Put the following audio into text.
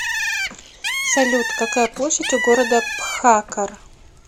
салют какая площадь у города бхаккар